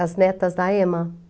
As Netas da Ema.